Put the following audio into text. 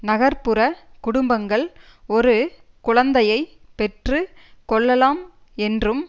நகர் புற குடும்பங்கள் ஒரு குழந்தையை பெற்று கொள்ளலாம் என்றும்